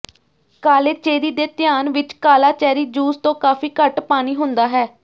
ਕਾਲੇ ਚੇਰੀ ਦੇ ਧਿਆਨ ਵਿਚ ਕਾਲਾ ਚੈਰੀ ਜੂਸ ਤੋਂ ਕਾਫੀ ਘੱਟ ਪਾਣੀ ਹੁੰਦਾ ਹੈ